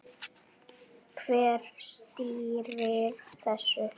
Hver stýrir þessu?